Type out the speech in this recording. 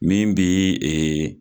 Min bi